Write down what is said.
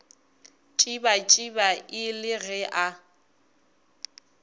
tšibatšiba e le ge a